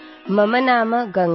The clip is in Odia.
ମୋ ନାଁ ଗଙ୍ଗା